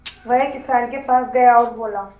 वह किसान के पास गया और बोला